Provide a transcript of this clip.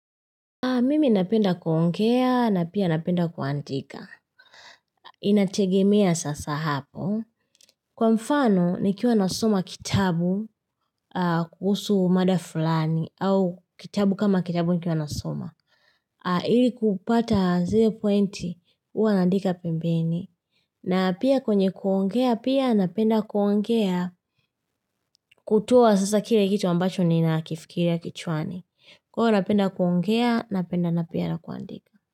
Mimi napenda kuongea na pia napenda kuandika. Inategemea sasa hapo. Kwa mfano, nikiwa nasoma kitabu kuhusu mada fulani au kitabu kama kitabu nikiwa nasoma. Ili kupata zero pointi, huwa naandika pembeni. Na pia kwenye kuongea, pia napenda kuongea kutoa sasa kile kitu ambacho ni nakifikiria kichwani. Huwa napenda kuongea, napenda na pia na kuandika.